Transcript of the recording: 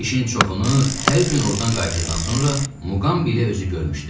İşin çoxunu hər gün oradan qayıtdıqdan sonra Muqambi özü görmüşdü.